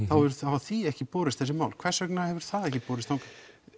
þá hefur því ekki borist þessi mál hvers vegna hefur það ekki borist þangað